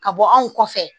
Ka bɔ anw kɔfɛ